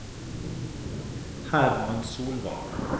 Herman Solvang